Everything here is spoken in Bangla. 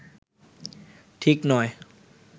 ঠিক নয়